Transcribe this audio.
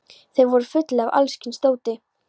Þeir voru fullir af alls kyns dóti.